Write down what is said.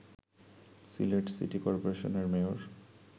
Sylhet city করপোরেশনের mayor